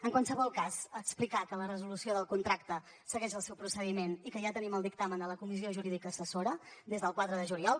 en qualsevol cas explicar que la resolució del contracte segueix el seu procediment i que ja tenim el dictamen de la comissió jurídica assessora des del quatre de juliol